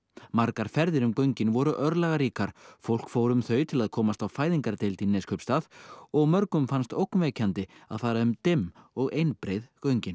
margar ferðir um göngin voru örlagaríkar fólk fór um þau til að komast á fæðingardeild í Neskaupstað og mörgum fannst ógnvekjandi að fara um dimm og einbreið göngin